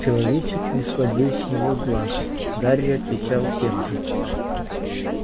человечек не сводил с него глаз гарри отвечал тем же